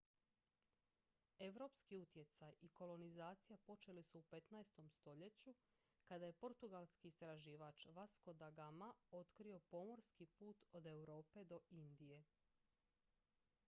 europski utjecaj i kolonizacija počeli su u 15. stoljeću kada je portugalski istraživač vasco da gama otkrio pomorski put od europe do indije